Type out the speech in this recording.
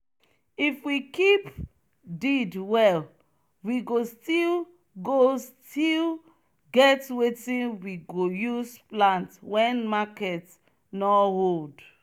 if we keep deed well we go still go still get wetin we go use plant wen market nor hold.